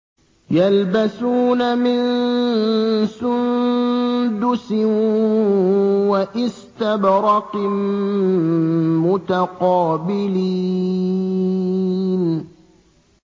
يَلْبَسُونَ مِن سُندُسٍ وَإِسْتَبْرَقٍ مُّتَقَابِلِينَ